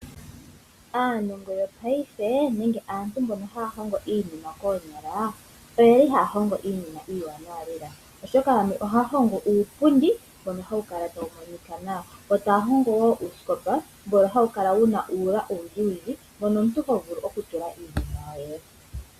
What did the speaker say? Aanongo yopaife nenge aantu mboka haya hongo iinima koonyala oye li haya hongo iinima iiwanawa lela, oshoka yamwe ohaya uupundi mbono hawu kala tawu monika nawa omanga uusikopa mbono hawu kala wuna uula owundjiwundji ,mono omuntu hovulu okutula iinima yoye.